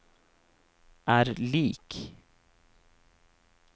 er lik